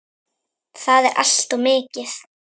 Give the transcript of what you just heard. Það er allt of mikið.